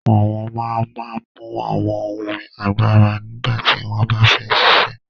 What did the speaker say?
Awọn man man mú awọn ohun àgbàrá nígbàtí wọn bá fẹ ṣíṣẹ̀